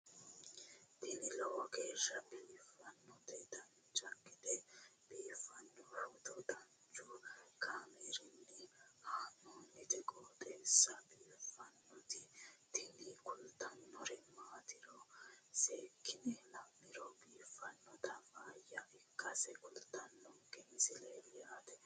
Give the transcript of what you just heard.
tini lowo geeshsha biiffannoti dancha gede biiffanno footo danchu kaameerinni haa'noonniti qooxeessa biiffannoti tini kultannori maatiro seekkine la'niro biiffannota faayya ikkase kultannoke misileeti yaate